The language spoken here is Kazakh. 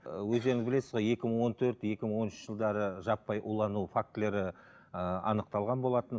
өздеріңіз білесіз ғой екі мың он төрт екі мың он үшінші жылдары жаппай улану фактілері ііі анықталған болатын